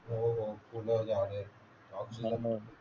हो हो फुल झाडे